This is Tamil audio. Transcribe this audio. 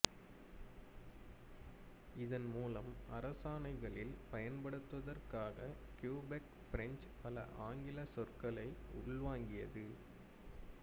இதன்மூலம் அரசாணைகளில் பயன்படுத்துவதற்காக கியூபெக் பிரெஞ்சு பல ஆங்கிலச் சொற்களை உள்வாங்கியது